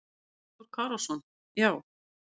Arnór Kárason: Já.